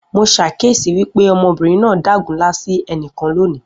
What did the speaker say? Mo ṣàkíyesi wípé ọmọbìnrin náà dágunlá sí ẹnìkan loni